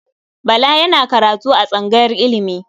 Bala yana karatu a tsangayar ilimi.